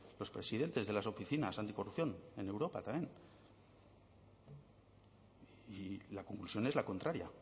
los presidentes de las oficinas anticorrupción en europa también y la conclusión es la contraria